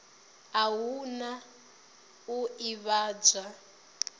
a hu na u ḓivhadzwa